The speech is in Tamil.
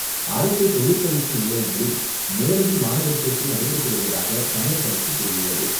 அரசு தொழிற்பயிற்சி நிலையங்களில் நேரடி மாணவர் சேர்க்கை நடைபெற்று வருவதாக தமிழக அரசு கூறியுள்ளது.